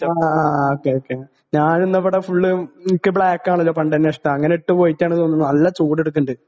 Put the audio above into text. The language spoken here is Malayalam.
ആ ഓക്കേ ഓക്കേ ഞാനിന്നാവിടെ ഫുള്ള് ഇൻക്ക് ബ്ലാക്കാണല്ലോ പണ്ടന്നെ ഇഷ്ടാ അങ്ങനെ ഇട്ട് പോയിട്ടാണെന്ന് തോന്നുന്നു നല്ല ചൂടിട്ക്ക്ണിണ്ട്.